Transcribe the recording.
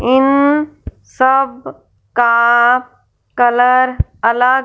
इन सब का कलर अलग--